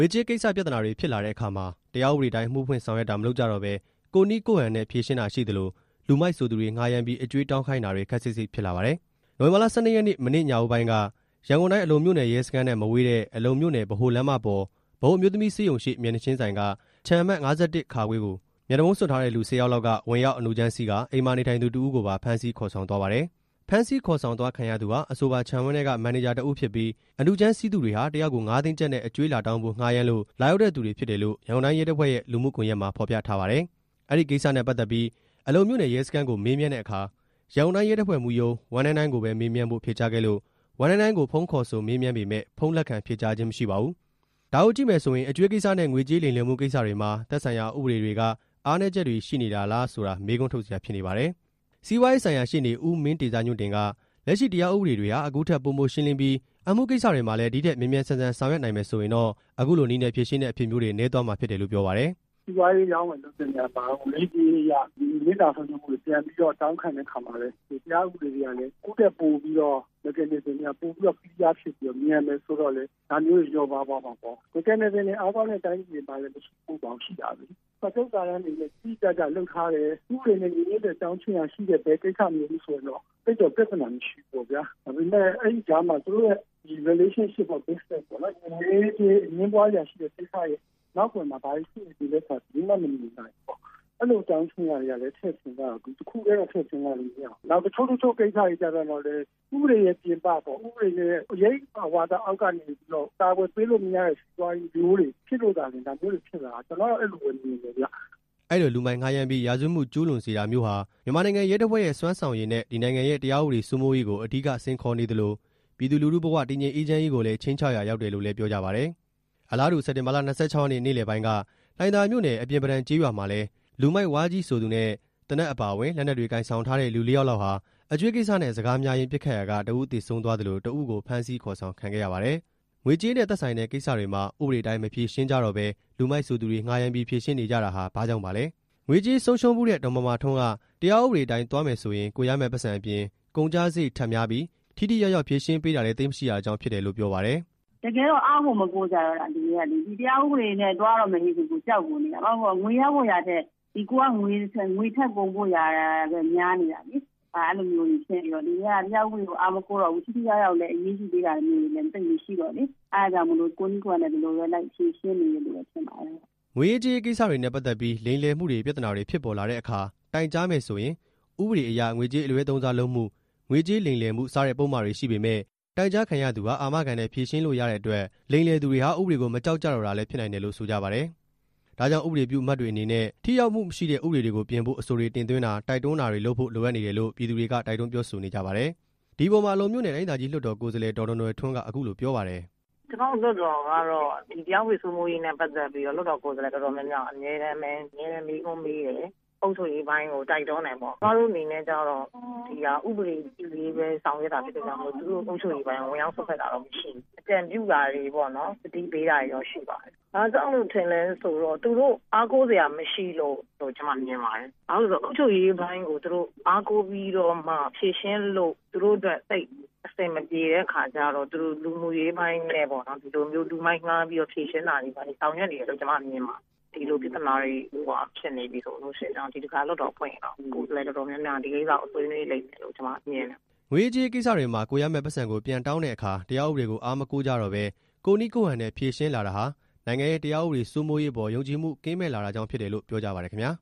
ေကြေးကိစ္စ ပြဿနာတွေဖြစ်လာတဲ့အခါမှာ တရားဥပဒေအတိုင်း အမှုဖွင့်ဆောင်ရွက်တာ မလုပ်ကြတော့ဘဲ ကိုယ့်နည်းကိုယ့်ဟန်နဲ့ ဖြေရှင်းတာရှိသလို လူမိုက်ဆိုသူတွေငှားရမ်းပြီး အကြွေးတောင်းခိုင်းတာတွေ ခပ်စိပ်စိပ်ဖြစ်လာပါတယ်။ နိုဝင်ဘာလ ၁၂ ရက်နေ့ မနေ့ညဦးပိုင်းက ရန်ကုန်တိုင်း အလုံမြို့နယ် ရဲစခန်းနဲ့မဝေးတဲ့ အလုံမြို့နယ် ဗဟိုလမ်းမပေါ်၊ ဗဟိုအမျိုးသမီး ဆေးရုံရှေ့ မျက်နှာချင်းဆိုင်က ခြံအမှတ် ၅၁ ကို မျက်နှာဖုံးစွပ်ထားတဲ့လူ ၁၀ ယောက်လောက်က ဝင်ရောက်အနုကြမ်းစီးကာ အိမ်မှာနေထိုင်သူတစ်ဦးကိုပါ ဖမ်းဆီးခေါ်ဆောင်သွားခဲ့ပါတယ်။ ဖမ်းဆီးခေါ်ဆောင်သွားခံရသူဟာ အဆိုပါခြံဝန်းထဲက မန်နေဂျာတစ်ဦးဖြစ်ပြီး အနုကြမ်းစီးသူတွေဟာ တစ်ယောက် ကို ၅ သိန်းကျပ်နဲ့ အကြွေးလာတောင်းဖို့ ငှားရမ်းလို့ လာရောက်တဲ့သူတွေဖြစ်တယ်လို့ ရန်ကုန်တိုင်းရဲ့တပ်ဖွဲ့ရဲ့ လူမှုကွန်ရက်မှာ ဖော်ပြထားပါတယ်။ အဲဒီကိစ္စနဲ့ပတ်သက်ပြီး အလုံမြို့နယ်ရဲ့စခန်းကို မေးမြန်းတဲ့အခါ ရန်ကုန်တိုင်းရဲတပ်ဖွဲ့မှူးရုံး ၁၉၉ ကိုပဲမေးမြန်းဖို့ ဖြေကြားခဲ့လို့ ၁၉၉ ကို ဖုန်းခေါ်ဆိုမေးမြန်းပေမယ့် ဖုန်းလက်ခံဖြေကြားခြင်းမရှိပါဘူး။ ဒါကိုကြည့်မယ်ဆိုရင် အကြွေးကိစ္စနဲ့ ငွေကြေးလိမ်လည်မှုကိစ္စတွေမှာ သက်ဆိုင်ရာဥပဒေတွေက အားနည်းချက်တွေ ရှိနေတာလားဆိုတာ မေးခွန်းထုတ်စရာဖြစ်နေပါတယ်။ စီးပွားရေးဆိုင်ရာရှေ့နေ ဦးမင်းတေဇညွန့်တင် က လက်ရှိတရားဥပဒေတွေဟာ အခုထက် ပိုမိုရှင်းလင်းပြီး အမှုကိစ္စတွေမှာလည်း ဒီထက်မြန်မြန်ဆန်ဆန် ဆောင်ရွက်နိုင်မယ်ဆိုရင်တော့ အခုလိုနည်းနဲ့ ဖြေရှင်းတဲ့ အဖြစ်မျိုးတွေ နည်းသွားမှာဖြစ်တယ်လို့ ပြောပါတယ်။ "စီးပွားရေးအရောင်းအဝယ်လုပ်တဲ့နေရာမှာရော ငွေရေးကြေးရေးအရ နစ်နာမှုတွေပြန်ပြီးတော့ တောင်းခံတဲ့ အခါမှာလည်း တရားဥပဒေတွေကလည်း အခုထက်ပိုပြီးတော့ ပိုမြန်မယ်ဆိုရင်တော့ ဒါမျိုးတွေ လျော့ပါးသွား မှာပေါ့၊ စာချုပ်စာတမ်းတွေနဲ့ တိတိကျကျလုပ်ထားတယ်၊ ဥပဒေနဲ့ညီညွတ်တဲ့ အကြောင်းခြင်းအရာရှိတဲ့ ဘယ်ကိစ္စမျိုးမဆိုဆိုရင်တော့ သိပ်တော့ပြဿနာမရှိဘူးပေါ့ဗျာ၊ ဒီငွေရေးကြေးရေး အငြင်းပွားစရာကိစ္စရဲ့ နောက်ကွယ်မှာ ဘယ်လိုတွေရှိနေလဲဆိုတာ ဘယ်သူမှမမြင်နိုင်ဘူးပေါ့၊ အဲလိုအကြောင်းခြင်းအရာတွေကလည်း ထည့်စဉ်းစားရမယ်၊ တစ်ခုတည်းတော့ စဉ်းစားလို့မရဘူး၊ နောက်တချို့ကိစ္စတွေကျပြန်တော့လည်း ဥပဒေရဲ့ပြင် ပပေါ့၊ ဥပဒေရဲ့အရိပ်အာဝါသအောက်ကနေ အကာအကွယ်ပေးလို့မရတဲ့ စီးပွားရေးမျိုးတွေဖြစ်လို့သာလျှင် ဒါမျိုးတွေဖြစ်လာတာ ကျနော်ကတော့ အဲလိုပဲမြင်တယ်ဗျ။" အဲဒီလိုလူမိုက်ငှားရမ်းပြီး ရာဇဝတ်မှုကျုးလွန်စေတာမျိုးဟာ မြန်မာနိုင်ငံရဲတပ်ဖွဲ့ရဲ့ စွမ်းဆောင်ရည်နဲ့ ဒီနိုင်ငံရဲ့ တရားဥပဒေစိုးမိုးရေးကို အဓိကစိန်ခေါ်နေသလို ပြည်သူလူထုဘ၀ တည်ငြိမ်အေးချမ်းရေးကိုလည်း ခြိမ်းခြောက်ရာရောက်တယ်လို့လည်း ပြောကြပါတယ်။ အလားတူ စက်တင်ဘာလ ၂၆ ရက်နေ့ နေ့လည်ပိုင်းက လှိုင်သာယာမြို့နယ်၊ အပြင်ပဒံကျေးရွာမှာလည်း လူမိုက်ဝါးကြီး ဆိုသူနဲ့ သေနတ်အပါအဝင် လက်နက်တွေကိုင်ဆောင်ထားတဲ့ လူ ၄ ယောက်လောက်ဟာ အကြွေးကိစ္စနဲ့စကားများရင်း ပစ်ခတ်ရာက တစ်ယောက် သေဆုံးသွားသလို တစ်ဦးကို ဖမ်းဆီးခေါ်ဆောင် ခံခဲ့ရပါတယ်။ ငွေကြေးနဲ့သက်ဆိုင်တဲ့ကိစ္စတွေမှာ ဥပဒေအတိုင်း မဖြေရှင်းကြတော့ဘဲ လူမိုက်ဆိုသူတွေငှားရမ်းပြီး ဖြေရှင်းနေကြတာဟာ ဘာကြောင့်ပါလဲ။ ငွေကြေးဆုံးရှုံးဖူးတဲ့ ဒေါ်မာမာထွန်းက တရားဥပဒေအတိုင်းသွားမယ်ဆိုရင် ကိုယ်ရမယ့်ပိုက်ဆံအပြင် ကုန်ကျစရိတ်ထပ်များပြီး ထိထိရောက်ရောက်ဖြေရှင်းပေးတာလည်း သိပ်မရှိတာကြောင့် ဖြစ်တယ်လို့ ပြောပါတယ်။ "တကယ်တော့ အားကိုမကိုးကြတော့တာာ လူတွေကလေ၊ တရားဥပဒေနဲ့ သွားရတော့မယ်ဆိုလို့ရှိရင် ကြောက်ကိုနေတာ ဘာလို့ဆိုရင် ငွေရဖို့ဆိုတာထက် ကိုယ်ကငွေထပ်ကုန်ဖို့ဟာပဲ ပိုများနေတာလေ၊ အဲတာမျိုးတွေဖြစ်နေတော့ လူတွေက တရားဥပဒေကို အားမကိုးတော့ဘူး၊ ထိထိရောက်ရောက်လည်း အရေးယူပေးတာမျိုးတွေလည်း သိပ်မရှိတော့လေ၊ အဲတာကြောင့်မို့ ဒီလိုကိုယ့်နည်းကိုယ့်ဟန်နဲ့ပဲ လိုက်ပြီးတော့ ဖြေရှင်းနေတယ်လို့ ထင်ပါတယ်။" ငွေရေးကြေးရေးကိစ္စတွေနဲ့ ပတ်သက်ပြီး လိမ်လည်မှုတွေ ပြဿနာတွေဖြစ်ပေါ်လာတဲ့အခါ တိုင်ကြားမယ်ဆိုရင် ဥပဒေတွေအရ ငွေကြေးအလွဲသုံးစားလုပ်မှု၊ ငွေကြေးလိမ်လည်မှု စတဲ့ ပုဒ်မတွေရှိပေမယ့် တိုင်ကြားခံရသူဟာ အာမခံနဲ့ ဖြေရှင်းလို့ရတဲ့အတွက် လိမ်လည်သူတွေဟာ ဥပဒေကို မကြောက်ကြတော့တာလည်း ဖြစ်နိုင်တယ်လို့ ဆိုကြပါတယ်။ ဒါကြောင့် ဥပဒေပြုအမတ်တွေအနေနဲ့ ထိရောက်မှုမရှိတဲ့ ဥပဒေတွေကိုပြင်ဖို့ အဆိုတွေ တင်သွင်းတာ တိုက်တွန်းတာတွေလုပ်ဖို့ လိုအပ်နေတယ်လို့ ပြည်သူတွေက တိုက်တွန်းပြောဆိုနေကြပါတယ်။ ဒီအပေါ်မှာ အလုံမြို့နယ် တိုင်းဒေသကြီးလွှတ်တော် ကိုယ်စားလှယ် ဒေါ်နွယ်နွယ်ဝင်း က အခုလိုပြောပါတယ်။ "ကျမတို့လွှတ်တော်ကတော့ တရားဥပဒေစိုးမိုးရေးနဲ့ ပတ်သက်ပြီးတော့ လွှတ်တော်ကိုယ်စားလှယ် တော်တော် များများက အမြဲတမ်းမေးခွန်းမေးတယ်၊ အုပ်ချုပ်ရေးပိုင်းကို တိုက်တွန်းတယ်ပေါ့၊ ကျမတို့အနေနဲ့ကြတော့ ဥပဒေပြုရေးပဲ ဆောင်ရွက်တာဖြစ်လို့ သူတို့အုပ်ချုပ်ရေးပိုင်းကို ဝင်ရောက်စွက်ဖက်တာတော့မရှိဘူး၊ အကြံပြု တာတွေပေါ့နော် သတိပေးတာတွေတော့ရှိပါတယ်၊ ဘာကြောင့်လို့ထင်လည်းဆိုတော့ သူတို့အားကိုးစရာမရှိလို့ ကျမမြင်ပါတယ်၊ ဘာလို့လဲဆိုတော့ အုပ်ချုပ်ရေးပိုင်းကိုသူတို့ အားကိုးပြီးတော့မှဖြေရှင်းလို့ သူတို့အတွက် သိပ်အဆင်မပြေတဲ့အခါကျတော့ သူတို့လူမှုရေးပိုင်းနဲ့ပေ့ါနော် ဒီလိုမျိုး လူမိုက်ငှားပြီး ဖြေရှင်းနေတယ်လို့ ကျမမြင်ပါတယ်၊ ဒီလိုပြဿနာတွေဖြစ်နေပြီဆိုလို့ရှိရင်တော့ ဒီတခါလွှတ်တော်ဖွင့်ရင်တော့ လွှတ်တော် ကိုယ်စားလှယ်တော်တေ်ာများများက ဒီကိစ္စကိုဆွေးနွေးလိမ့်မယ်လို့ ကျမမြင်တယ်။" ငွေရေးကြေးရေးကိစ္စတွေမှာ ကိုယ်ရမယ့်ပိုက်ဆံကို ပြန်တောင်းတဲ့အခါ တရားဥပဒေကို အားမကိုးကြတော့ဘဲ ကိုယ့်နည်းကိုယ့်ဟန်နဲ့ ဖြေရှင်းလာတာဟာ နိုင်ငံရဲ့တရားဥပဒေစိုးမိုးရေးအပေါ် ယုံကြည်မှုကင်းမဲ့ လာတာကြောင့်ဖြစ်တယ်လို့ ပြောကြပါတယ်ခင်ဗျာ